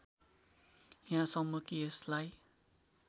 यहाँसम्म कि यसलाई